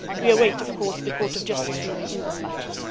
We await of course the Court of Justice ruling in this matter.